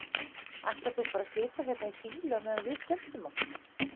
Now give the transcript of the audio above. Ætlar þú bara að sitja hérna í fýlu á meðan við skemmtum okkur?